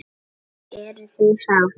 Telma: Eruð þið sátt?